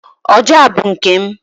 ọjà a bụ nke m